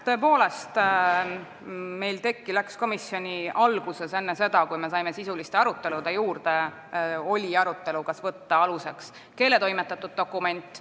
Tõepoolest, meil oli komisjoni istungi alguses enne seda, kui me saime sisuliste arutelude juurde minna, see arutelu, kas võtta aluseks keeletoimetatud dokument.